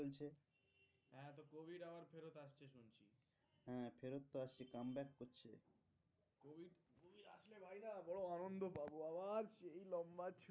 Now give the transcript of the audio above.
বড়ো আনন্দ পাবো আবার সেই লম্বা